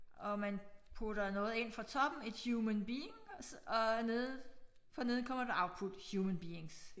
Og man putter noget ind fra toppen et human being og nede for neden kommer der output human beings